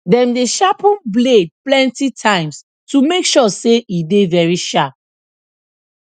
dem dey sharpen blade plenty times to make sure say e dey very sharp